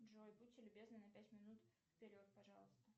джой будьте любезны на пять минут вперед пожалуйста